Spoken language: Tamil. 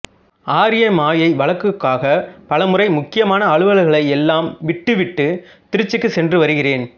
ஆரிய மாயை வழக்குக்காக பலமுறை முக்கியமான அலுவல்களையெல்லாம் விட்டு விட்டு திருச்சிக்குச் சென்று வருகிறேன்